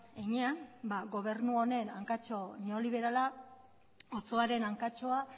heinean gobernu honen hankatxo neoliberala otsoaren hankatxoa